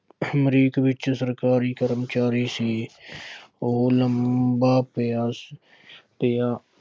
ਅਮਰੀਕ ਵਿੱਚ ਸਰਕਾਰੀ ਕਰਮਚਾਰੀ ਸੀ। ਉਹ ਲੰਬਾ ਪਿਆ ਪਿਆ